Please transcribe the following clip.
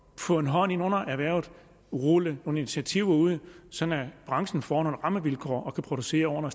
få en hånd ind under erhvervet og rulle nogle initiativer ud så branchen får nogle rammevilkår at producere under